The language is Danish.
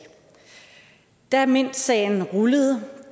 da mintsagen rullede